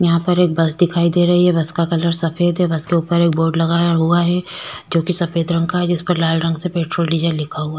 यहाँ पर एक बस दिखाई दे रही है बस का कलर सफेद है बस के ऊपर बोर्ड लगा हुआ है जो की सफेद रंग का है जिस पर लाल रंग से पेट्रोल डीजल लिखा हुआ है।